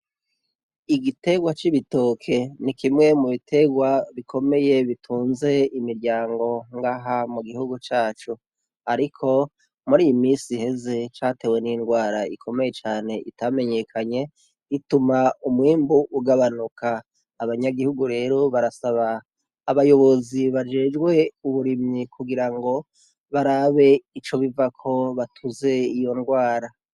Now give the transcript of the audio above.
Igiterwa c'ibitoke, ni kimwe mu bigiterwa bikomeye bitunze imiryango ngaha mu gihugu cacu, ariko muriyo misi iheze catewe n'ingwara ikomeye cane itamenyekanye ituma umwimbu ugabanuka, abanyagihugu rero barasaba abayobozi bajejwe uburimyi kugira ngo barabe ico bivako batuze iyo ngwara.